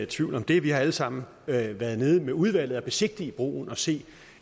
tvivl om det vi har alle sammen været dernede med udvalget og besigtiget broen og set